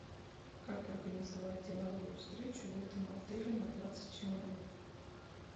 как организовать деловую встречу в этом отеле на двадцать человек